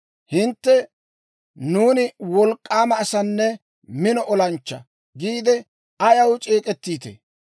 «Hintte, ‹Nuuni wolk'k'aama asanne mino olanchchaa› giide ayaw c'eek'ettiitee?